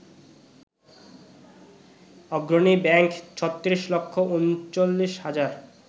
অগ্রণী ব্যাংক ৩৬ লাখ ৩৯ হাজার